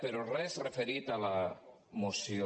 però res referit a la moció